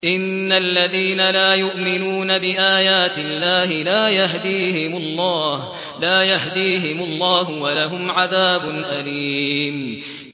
إِنَّ الَّذِينَ لَا يُؤْمِنُونَ بِآيَاتِ اللَّهِ لَا يَهْدِيهِمُ اللَّهُ وَلَهُمْ عَذَابٌ أَلِيمٌ